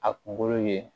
A kunkolo ye